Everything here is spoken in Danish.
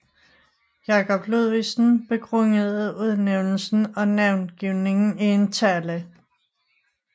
Jacob Ludvigsen begrundede udnævnelsen og navngivningen i en tale